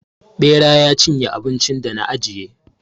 Ɓera ya cinye abincin da na ajiye.